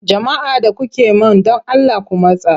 Jama'a da kuke man don Allah ku matsa!